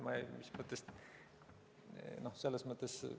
Mis mõttes?